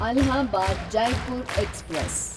Allahabad Jaipur express